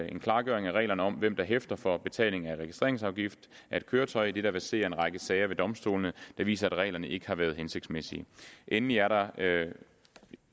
en klargøring af reglerne om hvem der hæfter for betaling af registreringsafgift af et køretøj idet der verserer en række sager ved domstolene der viser at reglerne ikke har været hensigtsmæssige endelig er der